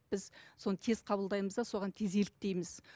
біз соны тез қабылдаймыз да соған тез еліктейміз